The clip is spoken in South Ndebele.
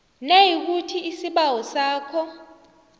nayikuthi isibawo sakho